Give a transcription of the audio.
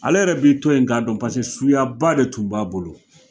Ale yɛrɛ b'i to yen k'a dɔn pase suyaba de tun b'a bolo.